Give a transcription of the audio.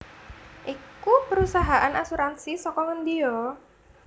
iku perusahaan asuransi saka ngendi yo